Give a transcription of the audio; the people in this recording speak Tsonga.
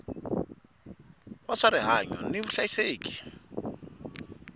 wa swa rihanyu ni vuhlayiseki